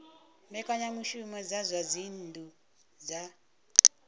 mbekanyamushumo dza zwa dzinnu dza